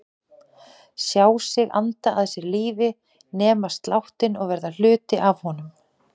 Sjá sig anda að sér lífi, nema sláttinn og verða hluti af honum.